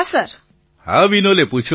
પ્રધાનમંત્રી હા વિનોલે પૂછો